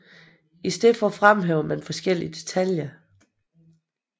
I stedet fremhævede man forskellige detaljer